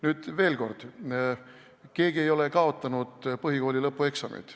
Nüüd veel kord: keegi ei ole kaotanud põhikooli lõpueksameid.